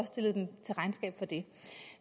stillet dem til regnskab for det